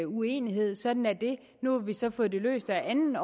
uenighed sådan er det nu har vi så få det løst ad anden